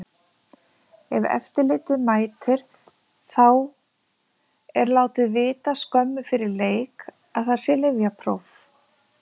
Ef eftirlitið mætir, þá er látið vita skömmu fyrir leik að það sé lyfjapróf.